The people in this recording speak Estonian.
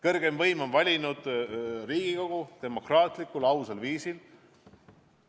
Kõrgeima võimu kandja on valinud Riigikogu demokraatlikul, ausal viisil.